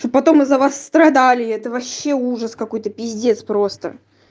чтоб потом из-за вас страдали это вообще ужас какой-то пиздец просто